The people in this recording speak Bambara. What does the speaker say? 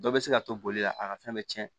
Dɔ bɛ se ka to boli la a ka fɛn bɛ cɛn